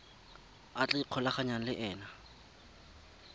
a tla ikgolaganyang le ena